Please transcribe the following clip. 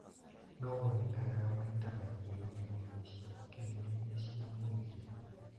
No wonekanaga maita maingĩ ng'enda-inĩ cia ũkinyanĩria cia mũingĩ.